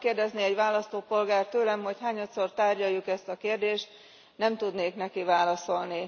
Ha megkérdezné egy választópolgár tőlem, hogy hányadszor tárgyaljuk ezt a kérdést, nem tudnék neki válaszolni.